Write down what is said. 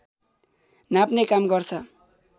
नाप्ने काम गर्छ